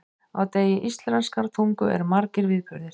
Á degi íslenskrar tungu eru margir viðburðir.